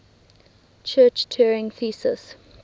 church turing thesis